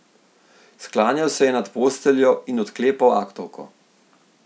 Sklanjal se je nad posteljo in odklepal aktovko.